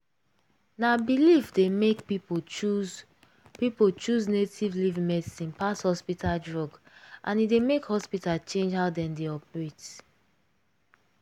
na belief dey make people choose people choose native leaf medicine pass hospital drug and e dey make hospital change how dem dey operate.